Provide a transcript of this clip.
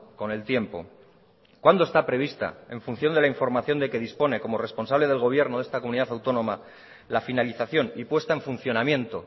con el tiempo cuándo está prevista en función de la información de que dispone como responsable del gobierno de esta comunidad autónoma la finalización y puesta en funcionamiento